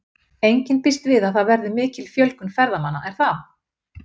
Enginn býst við að það verði mikil fjölgun ferðamanna er það?